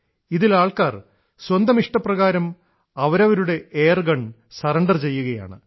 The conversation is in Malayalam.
ഇതിൽ ആൾക്കാർ സ്വന്തം ഇഷ്ടപ്രകാരം അവരവരുടെ എയർഗൺ സറണ്ടർ ചെയ്യുകയാണ്